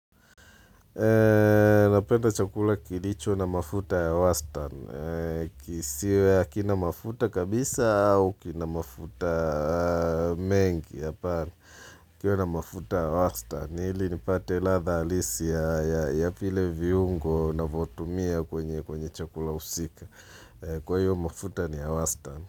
Napenda chakula kilicho na mafuta ya Wastan. Kisiwe akinamafuta kabisa au kinamafuta mengi. Kiwe na mafuta ya Wastan. Ili nipate ladha hilisi ya vile viungo navotumia kwenye chakula usika. Kwa hiyo mafuta ni ya Wastan.